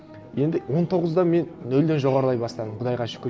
енді он тоғызда мен нөлден жоғарылай бастадым құдайға шүкір